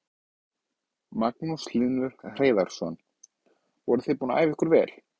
Magnús Hlynur Hreiðarsson: Voruð þið búin að æfa ykkur vel?